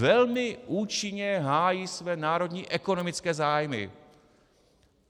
Velmi účinně hájí své národní ekonomické zájmy.